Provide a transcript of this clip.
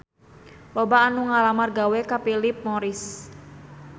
Loba anu ngalamar gawe ka Philip Morris